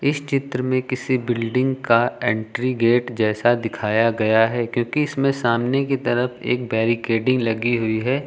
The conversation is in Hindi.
इस चित्र में किसी बिल्डिंग का एंट्री गेट दिखाया गया है क्योंकि इसमें सामने के तरफ एक बैरिकेटिंग लगी हुई है।